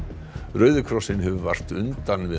rauði krossinn hefur vart undan við